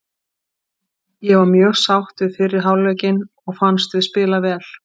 Ég var mjög sátt við fyrri hálfleikinn og fannst við spila vel.